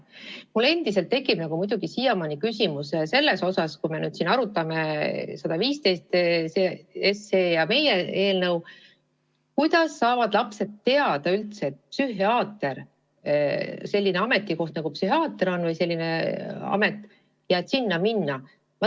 Mul muidugi endiselt tekib küsimus selle kohta – kui me siin seda eelnõu 115 ja meie eelnõu oleme arutanud –, et kuidas saavad lapsed üldse teada, et selline amet nagu psühhiaater on olemas ja tema vastuvõtule saab minna.